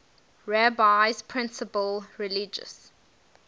rabbi's principal religious